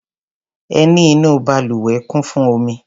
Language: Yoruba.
Ẹní inú balùwẹ̀ kún fún omi.